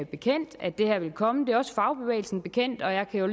bekendt at det her vil komme det er også fagbevægelsen bekendt og jeg kan jo